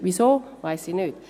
Wieso, weiss ich nicht;